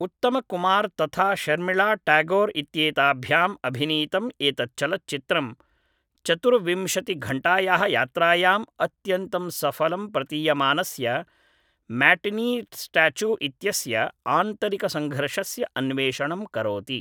उत्तमकुमार् तथा शर्मिळाट्यागोर् इत्येताभ्याम् अभिनीतम् एतत् चलच्चित्रं चतुर्विंशतिघण्टायाः यात्रायां अत्यन्तं सफलं प्रतीयमानस्य म्याटिनीस्टाच्यु इत्यस्य आन्तरिकसङ्घर्षस्य अन्वेषणं करोति